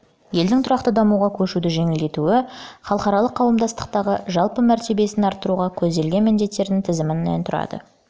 елдің тұрақты дамуға көшуді жеңілдетуі мен оның халықаралық қауымдастықтағы жалпы мәртебесін арттыруға көзделген міндеттерінің тізімінен тұрады